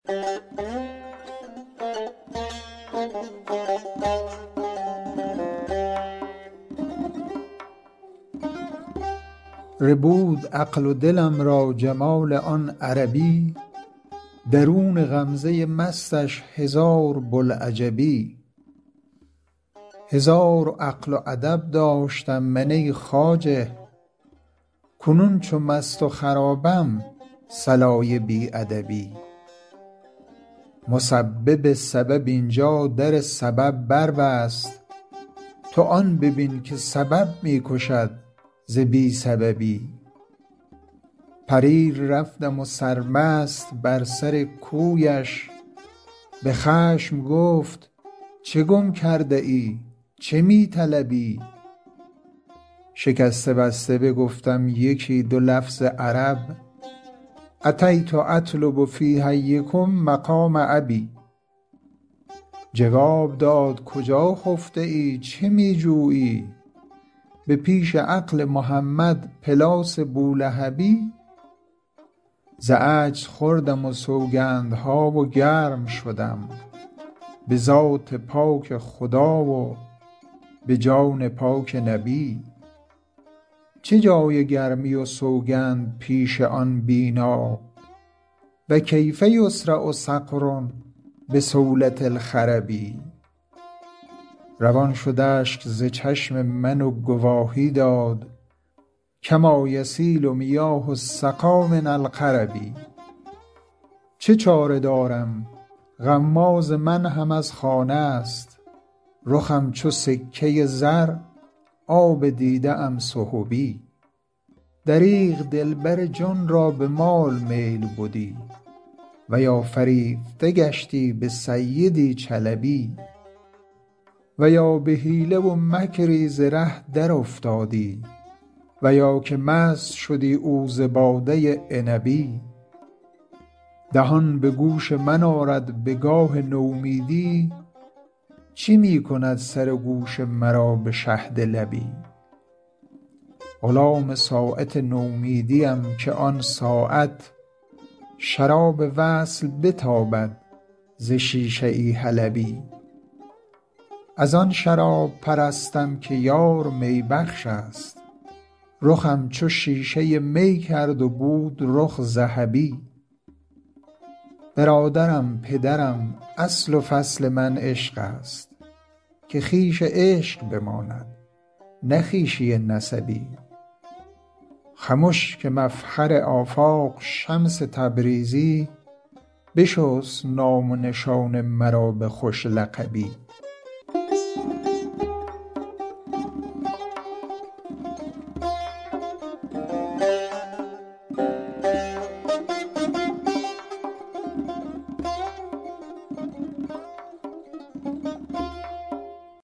ربود عقل و دلم را جمال آن عربی درون غمزه مستش هزار بوالعجبی هزار عقل و ادب داشتم من ای خواجه کنون چو مست و خرابم صلای بی ادبی مسبب سبب این جا در سبب بربست تو آن ببین که سبب می کشد ز بی سببی پریر رفتم سرمست بر سر کویش به خشم گفت چه گم کرده ای چه می طلبی شکسته بسته بگفتم یکی دو لفظ عرب أتیت أطلب في حیکم مقام أبي جواب داد کجا خفته ای چه می جویی به پیش عقل محمد پلاس بولهبی ز عجز خوردم سوگندها و گرم شدم به ذات پاک خدا و به جان پاک نبی چه جای گرمی و سوگند پیش آن بینا و کیف یصرع صقر بصولة الخرب روان شد اشک ز چشم من و گواهی داد کما یسیل میاه السقا من القرب چه چاره دارم غماز من هم از خانه ست رخم چو سکه زر آب دیده ام سحبی دریغ دلبر جان را به مال میل بدی و یا فریفته گشتی به سیدی چلبی و یا به حیله و مکری ز ره درافتادی و یا که مست شدی او ز باده عنبی دهان به گوش من آرد به گاه نومیدی چه می کند سر و گوش مرا به شهد لبی غلام ساعت نومیدیم که آن ساعت شراب وصل بتابد ز شیشه ای حلبی از آن شراب پرستم که یار می بخشست رخم چو شیشه می کرد و بود رخ ذهبی برادرم پدرم اصل و فصل من عشقست که خویش عشق بماند نه خویشی نسبی خمش که مفخر آفاق شمس تبریزی بشست نام و نشان مرا به خوش لقبی